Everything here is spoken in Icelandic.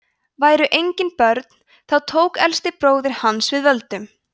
væru engin börn þá tók elsti bróðir hans við völdum